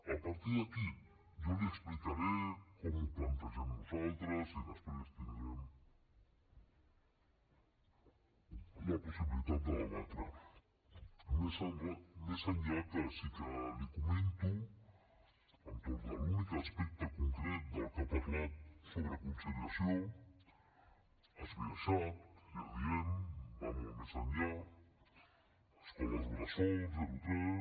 a partir d’aquí jo li explicaré com ho plantegem nosaltres i després tindrem la possibilitat de debatre ho més enllà que sí que li comento entorn de l’únic aspecte concret del que ha parlat sobre conciliació esbiaixat ja ho diem va molt més enllà escoles bressol zero tres